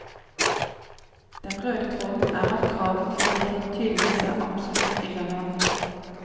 Den røde tråden er at kravet om kvalitet tydeligvis er absolutt irrelevant.